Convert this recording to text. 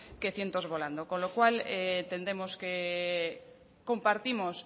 que cientos volando con lo cual entendemos que compartimos